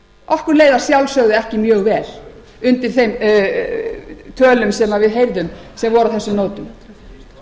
okkur leið að sjálfsögðu ekki mjög vel undir þeim tölum sem við heyrðum sem voru á þessum nótum